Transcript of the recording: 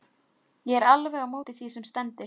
Ég er alveg á móti því sem stendur.